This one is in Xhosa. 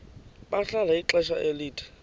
bahlala ixesha elide